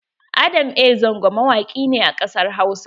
Adam A Zango mawaki ne a ƙasar Hausa.